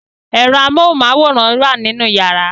Ẹ̀rọ amóhunmáwòrán wà nínú yàrá